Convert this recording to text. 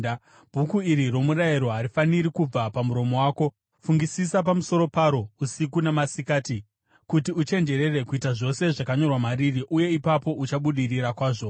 Bhuku iri romurayiro harifaniri kubva pamuromo wako; fungisisa pamusoro paro usiku namasikati, kuti uchenjerere kuita zvose zvakanyorwa mariri uye ipapo uchabudirira kwazvo.